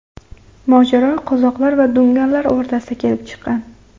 Mojaro qozoqlar va dunganlar o‘rtasida kelib chiqqan.